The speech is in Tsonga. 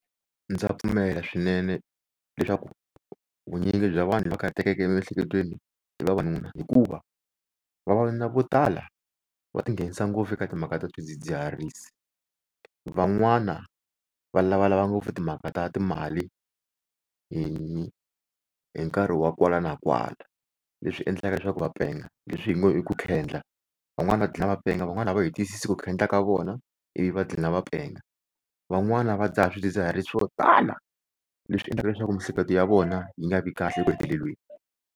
Ndza pfumela swinene leswaku vunyingi bya vanhu lava kathatekeke emiehleketweni i vavanuna. Hikuva vavanuna vo tala va ti nghenisa ngopfu eka timhaka ta swidzidziharisi. Van'wana va lavalava ngopfu timhaka ta timali hi hi nkarhi wa kwala na kwala, leswi endlaka leswaku va penga, leswi hi ngi i ku khendla. Van'wani va gina va penga van'wani a hi twisisi ku ku khendla ka vona ivi va gina va penga. Van'wana va dzaha swidzidziharisi swo tala leswi endlaka leswaku miehleketo ya vona yi nga vi kahle eku heteleleni.